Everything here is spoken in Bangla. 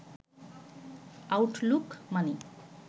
আউটলুক মানি